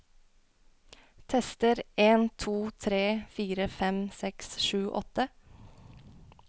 Tester en to tre fire fem seks sju åtte